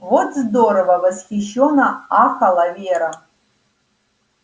вот здорово восхищённо ахала вера